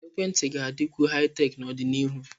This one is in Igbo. Ekwentị ga-adịkwu Haị-Tek n'ọdịnihu.